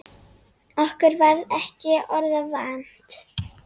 Okkur varð ekki orða vant.